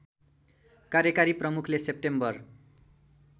कार्यकारी प्रमुखले सेप्टेम्बर